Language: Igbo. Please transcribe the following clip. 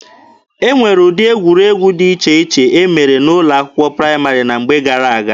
E nwere ụdị egwuregwu dị iche iche e mere n'ụlọ akwụkwọ praịmarị na mgbe gara-aga.